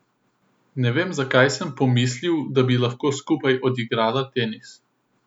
Ne vem, zakaj sem pomislil, da bi lahko skupaj odigrala tenis.